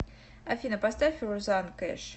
афина поставь розанн кэш